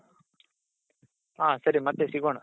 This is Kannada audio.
ಹ ಸರಿ ಮತ್ತೆ ಸಿಗೋಣ